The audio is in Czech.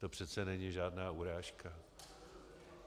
To přece není žádná urážka.